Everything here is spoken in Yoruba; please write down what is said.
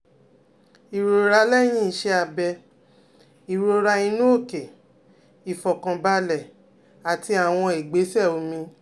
Ìrora lẹ́yìn iṣẹ́ abẹ, ìrora inú òkè, ìfọ̀kànbalẹ̀, àti àwọn ìgbésẹ̀ omi